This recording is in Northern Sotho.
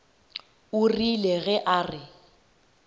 o rile ge a re